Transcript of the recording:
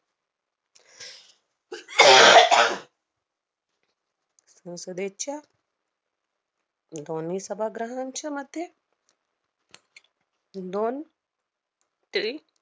संसदेच्या दोन्ही सभाग्रहांच्या मते दोन